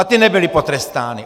A ty nebyly potrestány!